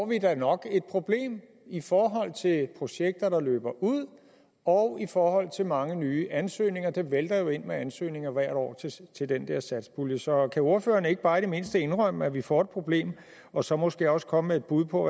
vi da nok et problem i forhold til projekter der løber ud og i forhold til mange nye ansøgninger det vælter jo ind med ansøgninger hvert år til den der satspulje så kan ordføreren ikke bare i det mindste indrømme at vi får et problem og så måske også komme med et bud på